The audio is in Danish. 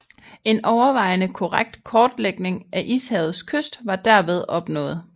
En overvejende korrekt kortlægning af ishavets kyst var derved opnået